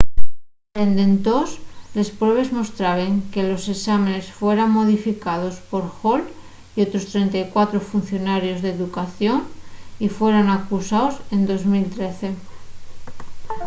dende entós les pruebes mostraben que los esámenes fueran modificaos por hall y otros 34 funcionarios d'educación y fueran acusaos en 2013